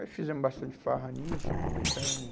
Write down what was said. Aí fizemos bastante farra nisso, aproveitamo.